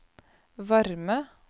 varme